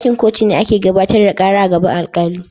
Dakin kotu ne ake gabatar da kara a gaban alkali.